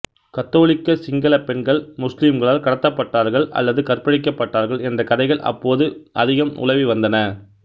கத்தோலிக்க சிங்களப் பெண்கள் முஸ்லிம்களால் கடத்தப்பட்டார்கள் அல்லது கற்பழிக்கப்பட்டார்கள் என்ற கதைகள் அப்போது அதிகம் உலவிவந்தன